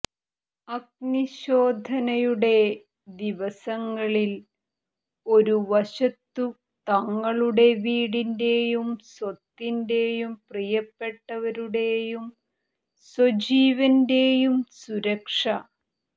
അഗ്നിശോധനയുടെ ദിവസങ്ങളിൽ ഒരു വശത്തു തങ്ങളുടെ വീടിന്റെയും സ്വത്തിന്റെയും പ്രിയപ്പെട്ടവരുടെയും സ്വജീവന്റെയും സുരക്ഷ